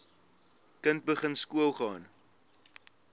kind begin skoolgaan